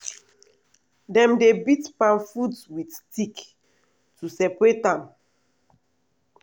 dem dey beat palm fruit with stick to separate am.